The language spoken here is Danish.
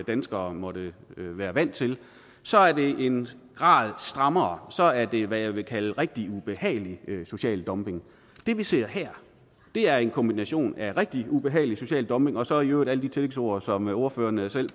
danskere måtte være vant til så er det en grad strammere så er det hvad jeg vil kalde rigtig ubehagelig social dumping det vi ser her er en kombination af rigtig ubehagelig social dumping og så i øvrigt alle de tillægsord som ordføreren selv